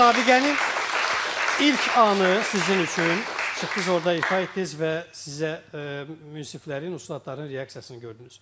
Müsabiqənin ilk anı sizin üçün çıxdınız orda ifa etdiniz və sizə münsiflərin, ustadların reaksiyasını gördünüz.